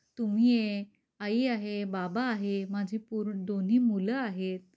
तुम्ही आहे आई आहे बाबा हे माझे दोन्ही मुलं आहेत.